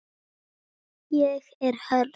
Ég er hörð.